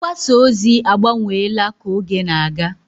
Mgbasa ozi agbanweela ka oge na-aga.